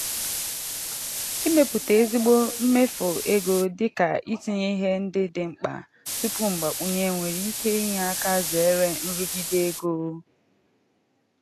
ịmepụta ezigbo mmefu ego dị ka "itinye ihe ndị dị mkpa tupu mgbakwunye" nwere ike inye aka zere nrụgide ego.